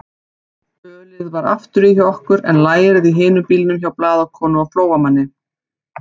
Ölið var afturí hjá okkur en lærið í hinum bílnum hjá blaðakonu og Flóamanni.